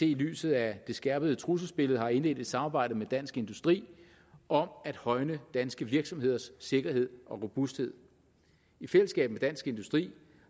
i lyset af det skærpede trusselsbillede har indledt et samarbejde med dansk industri om at højne danske virksomheders sikkerhed og robusthed i fællesskab med dansk industri